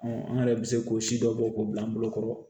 an yɛrɛ bɛ se k'o si dɔ bɔ k'o bila an bolokɔrɔ